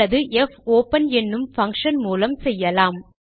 அல்லது போப்பன் என்னும் பங்ஷன் மூலம் செய்யலாம்